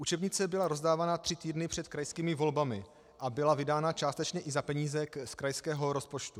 Učebnice byla rozdávána tři týdny před krajskými volbami a byla vydána částečně i za peníze z krajského rozpočtu.